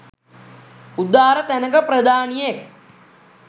උදාර තැනක ප්‍රධානියෙක්